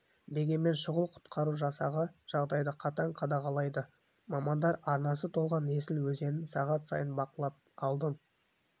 дегенмен шұғыл құтқару жасағы жағдайды қатаң қадағалайды мамандар арнасы толған есіл өзенін сағат сайын бақылап алдын